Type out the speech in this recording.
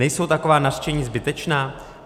Nejsou taková nařčení zbytečná?